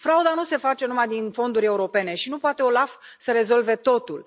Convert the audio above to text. Frauda nu se face numai din fonduri europene și nu poate OLAF să rezolve totul.